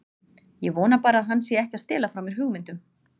Ég vona bara að hann sé ekki að stela frá mér hugmyndum.